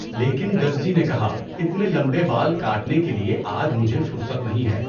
لیکن درزی نے کہا، اتنے لمبے بال کاٹنے کے لیےآج مجھے فرصت نہیں ہے!